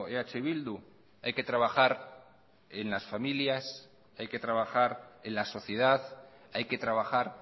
eh bildu hay que trabajar en las familias hay que trabajar en la sociedad hay que trabajar